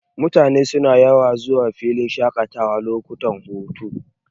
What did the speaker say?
Mutane suna yawan zuwa filin shaƙatawa lokutan hutu.,